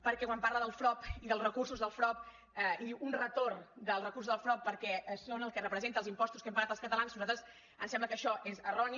perquè quan parla del frob i dels recursos del frob i diu un retorn dels recursos del frob perquè són el que representa els impostos que hem pagat els catalans a nosaltres ens sembla que això és erroni